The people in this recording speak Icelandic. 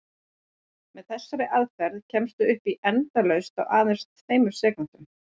Með þessari aðferð kemstu upp í endalaust á aðeins tveimur sekúndum!